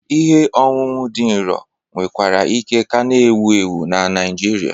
Ihe ọṅụṅụ dị nro nwekwara ike ka na-ewu ewu na Naijiria.